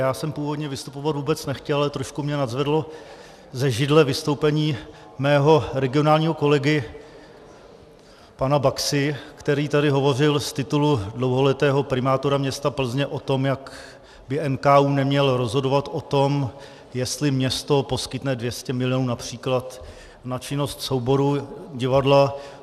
Já jsem původně vystupovat vůbec nechtěl, ale trošku mě nadzvedlo ze židle vystoupení mého regionálního kolegy pana Baxy, který tady hovořil z titulu dlouholetého primátora města Plzně o tom, jak by NKÚ neměl rozhodovat o tom, jestli město poskytne 200 milionů například na činnost souboru divadla.